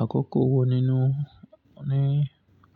Àkókò wo nínú ní